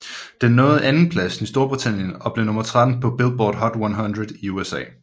Den nåede andenpladsen i Storbritannien og blev nummer 13 på Billboard Hot 100 i USA